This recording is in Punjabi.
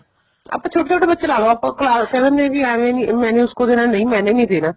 ਆਪਾਂ ਛੋਟੇ ਛੋਟੇ ਬੱਚੇ ਲਾਲੋ ਕਹਿ ਦਿੰਨੇ ਆ ਜੀ ਏਵੇਂ ਨੀ ਮੈਂ ਉਸਕੋ ਨਹੀਂ ਦੇਣਾ ਮੈਨੇ ਨੀ ਦੇਣਾ